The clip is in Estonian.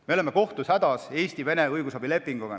Me oleme kohtus hädas Eesti-Vene õigusabilepinguga.